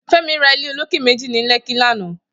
Femi rà ilé ólóké méji ni Lekki làná